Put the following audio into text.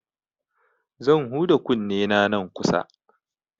Zan huda kunnena nan kusa.